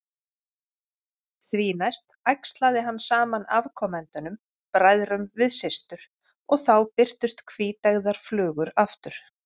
Því næst æxlaði hann saman afkomendunum, bræðrum við systur, og þá birtust hvíteygðar flugur aftur.